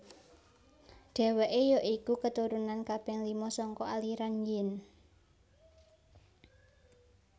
Dheweke ya iku keturunan kaping lima saka aliran Yin